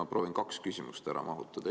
Ma proovin kaks küsimust ära mahutada.